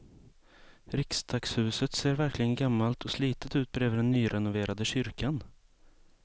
Riksdagshuset ser verkligen gammalt och slitet ut bredvid den nyrenoverade kyrkan.